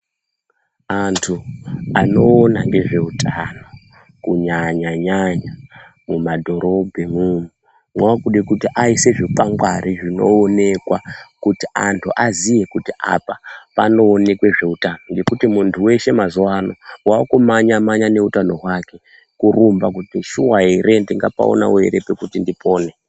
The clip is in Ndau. Antu anoona ngezveutano kunyanya-nyanya mumadhorobhemo vakude kuti vaise zvikwangwari zvinooneka kuti antu aziye kuti apa panooneke zveutano ngekuti muntu weshe mazuvano waakumhanya-mhanya neutano hwake kurumba kuti shuwa here, ndingapaonawo here pekuti ndipone.